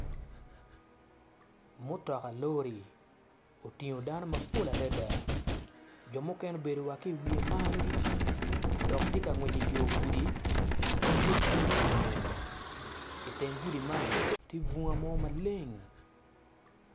Mutoka lori otingo dano mapol adada jo mukene obedo wa ki i wiye malo dok tye ka ngwec i yo gudi ma pud gipuru nyen iteng gudi man ti funga mo maleng